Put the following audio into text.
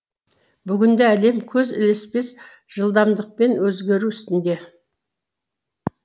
бүгінде әлем көз ілеспес жылдамдықпен өзгеру үстінде